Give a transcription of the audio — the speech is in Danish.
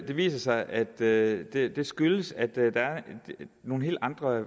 det viser sig at det det skyldes at der er nogle helt andre